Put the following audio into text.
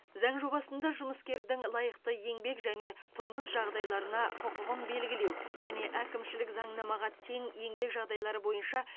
заң жобасында жұмыскердің лайықты еңбек және тұрмыс жағдайларына құқығын белгілеу және әкімшілік заңнамаға тең еңбек жағдайлары бойынша